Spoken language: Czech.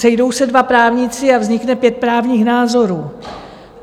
Sejdou se dva právníci a vznikne pět právních názorů.